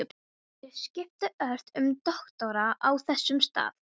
Bréfið var ílangt og með innsigli biskups.